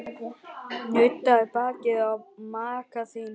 Nuddaðu bakið á maka þínum.